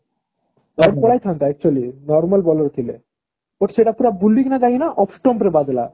wide ପଳେଇଥାନ୍ତା actually normal bowler ଥିଲେ but ଗୋଟେ ସେଟା ପୁରା ବୁଲିକି ଯାଇକିନା out stomp ରେ ବାଜିଲା